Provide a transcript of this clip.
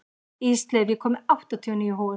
Ísleif, ég kom með áttatíu og níu húfur!